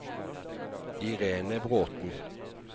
Irene Bråthen